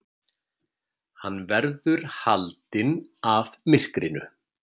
Hann verður haldinn af myrkrinu.